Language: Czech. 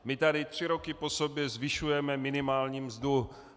My tady tři roky po sobě zvyšujeme minimální mzdu.